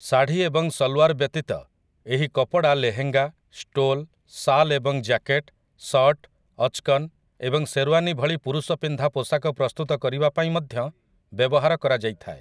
ଶାଢ଼ୀ ଏବଂ ସଲ୍‌ୱାର୍ ବ୍ୟତୀତ ଏହି କପଡ଼ା ଲେହେଙ୍ଗା, ଷ୍ଟୋଲ୍, ଶାଲ୍ ଏବଂ ଜ୍ୟାକେଟ୍, ସର୍ଟ, ଅଚ୍‌କନ୍ ଏବଂ ଶେର୍‌ୱାନୀ ଭଳି ପୁରୁଷପିନ୍ଧା ପୋଷାକ ପ୍ରସ୍ତୁତ କରିବାପାଇଁ ମଧ୍ୟ ବ୍ୟବହାର କରାଯାଇଥାଏ ।